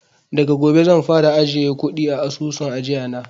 Daga gobe zan fara ajiye kuɗi a asusun ajiya na